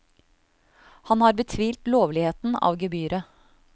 Han har betvilt lovligheten av gebyret.